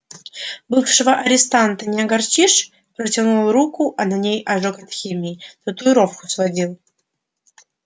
бывшего арестанта не огорчишь протянул руку а на ней ожог от химии татуировку сводил